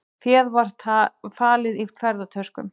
Féð var falið í ferðatöskum